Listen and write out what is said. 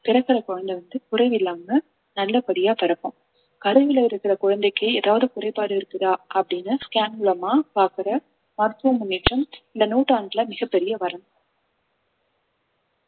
பிறக்கிற குழந்தை வந்து குறைவில்லாம நல்லபடியா பிறக்கும் கருவில இருக்கிற குழந்தைக்கு ஏதாவது குறைபாடு இருக்குதா அப்படின்னு scan மூலமா பாக்குற மருத்துவ முன்னேற்றம் இந்த நூற்றாண்டுல மிகப் பெரிய வரம்